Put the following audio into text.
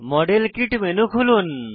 model kit menu খুলুন